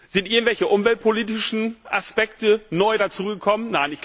Sind irgendwelche umweltpolitischen Aspekte neu dazugekommen?